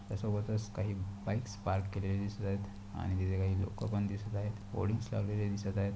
त्या सोबतच काही बाइक्स पार्क केलेले दिसत आहेत आणि लोक पण दिसत आहेत होडींग लावलेल्या दिसत आहेत.